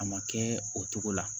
A ma kɛ o cogo la